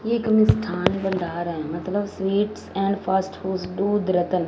ये एक मिस्थान बंदारा मतलब स्वीट्स एंड फास्ट फूड्स दूध रतन--